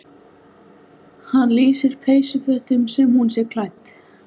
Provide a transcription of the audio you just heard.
Hann lýsir peysufötum sem hún sé klædd.